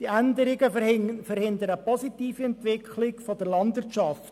Diese Änderungen verhindern eine positive Entwicklung der Landwirtschaft.